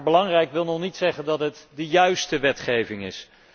Belangrijk wil echter nog niet zeggen dat het de juiste wetgeving is.